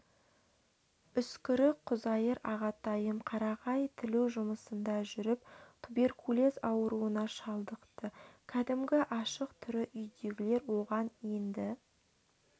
үскірік құзайыр ағатайым қарағай тілу жұмысында жүріп туберкулез ауруына шалдықты кәдімгі ашық түрі үйдегілер оған енді